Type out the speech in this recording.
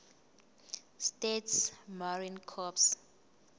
states marine corps